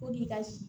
Ko n'i ka